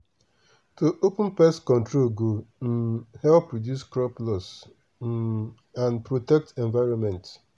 to open pest control go um help reduce crop loss um and protect environment.